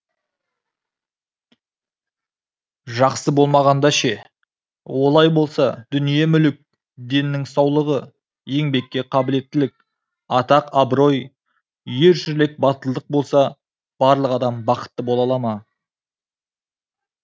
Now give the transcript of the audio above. жақсы болмағанда ше олай болса дүние мүлік деннің саулығы еңбекке қабілеттілік атақ абырой ер жүрек батылдық болса барлық адам бақытты бола ала ма